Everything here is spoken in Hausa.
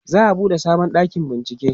za'a buɗe sabon ɗakin bincieke